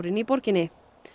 í borginni